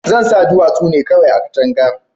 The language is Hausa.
zansa duwatsu nevkawai a katanka